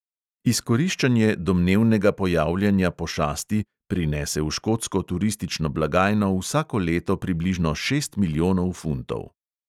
Izkoriščanje domnevnega pojavljanja pošasti prinese v škotsko turistično blagajno vsako leto približno šest milijonov funtov.